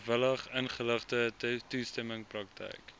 vrywilligingeligte toestemming praktyk